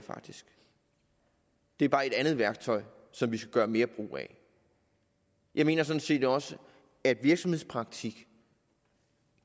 det er bare et andet værktøj som vi skal gøre mere brug af jeg mener sådan set også at virksomhedspraktik